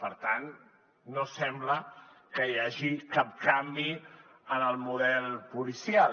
per tant no sembla que hi hagi cap canvi en el model policial